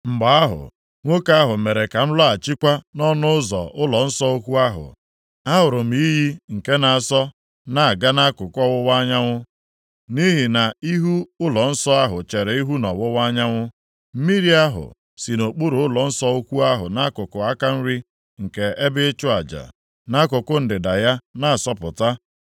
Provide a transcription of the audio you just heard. Mgbe ahụ, nwoke ahụ mere ka m lọghachikwa nʼọnụ ụzọ ụlọnsọ ukwu ahụ. Ahụrụ m iyi nke na-asọ na-aga nʼakụkụ ọwụwa anyanwụ (nʼihi na ihu ụlọnsọ ahụ chere ihu nʼọwụwa anyanwụ). Mmiri ahụ si nʼokpuru ụlọnsọ ukwu ahụ nʼakụkụ aka nri nke ebe ịchụ aja, nʼakụkụ ndịda ya na-asọpụta,